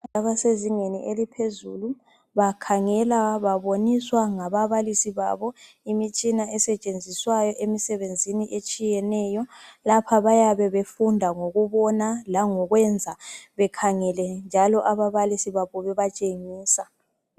Abasezingeni eliphezulu bakhangela baboniswa ngababilisi babo imitshina esetshenziswayo emisebenzini etshiyeneyo lapha bayabe befunda ngokubona langokwenza bekhangele njalo ababalisi babo bebatshengisa.